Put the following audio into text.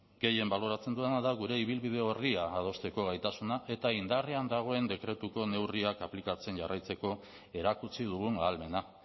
gehien baloratzen dudana da gure ibilbide orria adosteko gaitasunak eta indarrean dagoen dekretuko neurriak aplikatzen jarraitzeko erakutsi dugun ahalmena